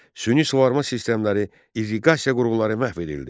Süni suvarma sistemləri, irriqasiya qurğuları məhv edildi.